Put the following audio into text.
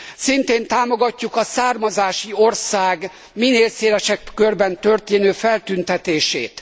Szintén támogatjuk a származási ország minél szélesebb körben történő feltüntetését.